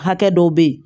Hakɛ dɔw bɛ yen